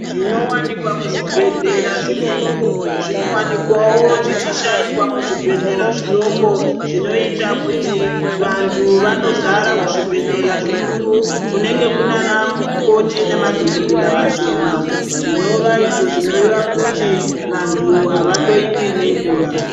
Zvinowanikwa muzvibhehlera zvikuru zvinowanikwawo zvichishaikwa muzvibhedhlera zvidoko zvinoita kuti vantu vanozara kuzvibhehlera zvikuru kunenge kunana mukoti nemadhokodhera vashoma zvinova izvo zvinoreva kuti vantu havahlowiwi nenguwa.